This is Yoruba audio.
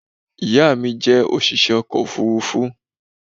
ìyá mi jẹ́ òṣìṣẹ́ ọkọ̀ òfurufú